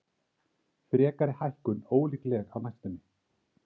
Frekari hækkun ólíkleg á næstunni